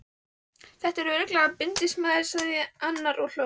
Þetta er örugglega bindindismaður, sagði annar og hló.